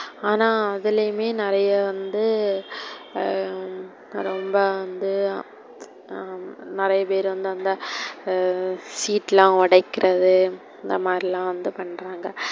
ஆனா அதுலயுமே நெறைய ஹம் வந்து ரொம்ப வந்து, ஹம் நெறைய பேரு வந்து seat லாம் உடைக்குறது இந்த மாதிரிலாம் வந்து பண்றாங்க.